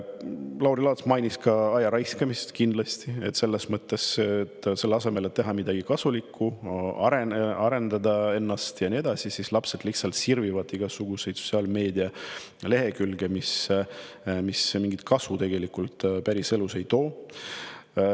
Lauri Laats mainis ka ajaraiskamist, kui selle asemel, et teha midagi kasulikku, arendada ennast ja nii edasi, lapsed lihtsalt sirvivad igasuguseid sotsiaalmeedia lehekülgi, mis päriselus mingit kasu tegelikult ei too.